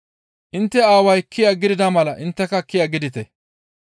Intte aaway kiya gidida mala intteka kiyata gidite.